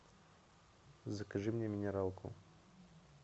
закажи мне минералку